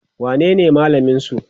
wanene malamin su?